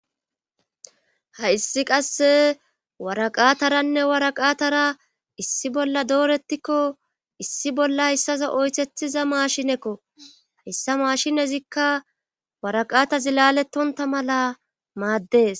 Hayssi qasse waraqataranne waraqatara issi bolla doorettikko issi bolla hayssaso oythethiza maashinekko hayssa maashinezikka waraqatazi laalettonta mala maaddees.